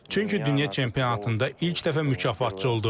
Çünki dünya çempionatında ilk dəfə mükafatçı oldum.